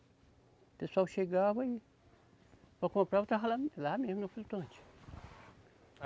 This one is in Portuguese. O pessoal chegava e para comprar eu estava lá no, lá mesmo, no flutuante.